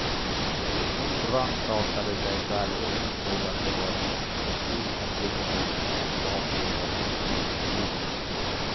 Hon rannsakade sig själv och insåg att det var en för stor konflikt mellan hennes privatliv och hennes yrkesliv.